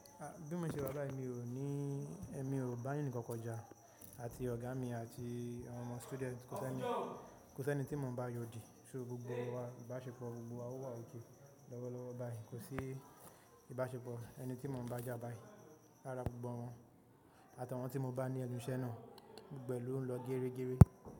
Bí mo ṣe wa bàyi mi ò ní, èmi ò bá e nìkan kan kọjá àti ọ̀gá mi àti àwọn ọmọ student, kò sí ẹni, kò sí ẹni tí mò ń bá yọ òdì. So gbogbo wa ìbáṣepọ̀ gbogbo wa ò wọ̀ òkè lọ́wọ́lọ́wọ́ báyìí kò sí ìbáṣepọ̀ ẹni tí mò ń bá jà báyìí. Rárá gbogbo wọn àtàwọn tí mo bá ní ẹ nunṣẹ́ náà gbogbo ẹ̀ ló ń lọ géregére.